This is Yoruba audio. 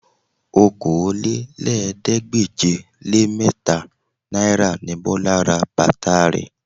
Okòólélẹ́ẹ̀ẹ́dégbèje-le-mẹ́ta náírà ni Bọlá ra bàtà rẹ̀